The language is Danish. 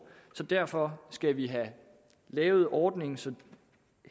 derfor skal vi have lavet ordningen så